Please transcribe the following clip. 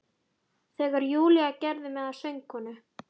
Þegar Júlía gerði mig að sögukonu.